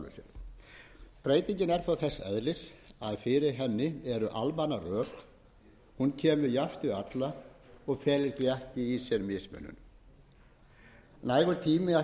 æskilegt breytingin er þó þess eðlis að fyrir henni eru almanna rök hún kemur jafnt við alla og felur því ekki í sér mismunun nægur tími ætti